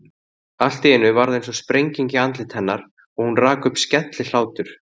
Allt í einu varð einsog sprenging í andliti hennar og hún rak upp skellihlátur.